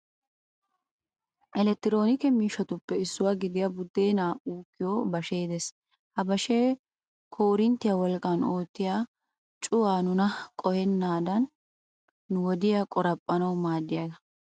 Elektiroonike miishshatuppe issuwa gidiya buddeenaa uukkiyo bashee des. Ha bashee koorinttiya wolqqan oottiya cuway nuna qohennaadaninne nu wodiya qoraphphanawu maaddiyagaa.